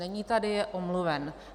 Není tady, je omluven.